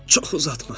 Çox uzatma.